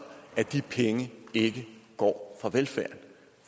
at de penge ikke går fra velfærden